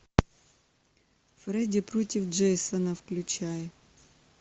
фредди против джейсона включай